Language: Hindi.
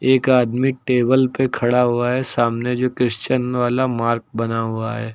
एक आदमी टेबल पे खड़ा हुआ है सामने जो क्रिश्चियन वाला मार्क बना हुआ है।